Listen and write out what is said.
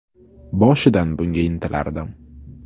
Boshidan bunga intilardim.